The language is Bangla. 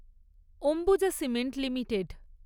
Ambuja cement limited